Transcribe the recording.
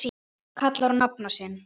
kallar á nafna sinn